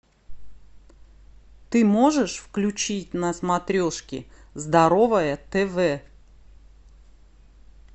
ты можешь включить на смотрешке здоровое тв